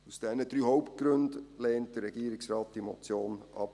Aus diesen 3 Hauptgründen lehnt der Regierungsrat diese Motion ab.